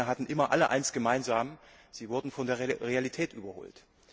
Diese Pläne hatten immer eines gemeinsam Sie wurden von der Realität überholt.